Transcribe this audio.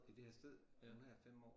I det her sted? Øh nu har jeg 5 år